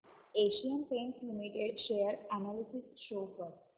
Asian Paints limited share analysis show कर